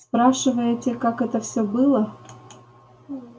спрашиваете как это все было